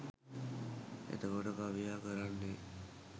එතකොට කවියා කරන්නේ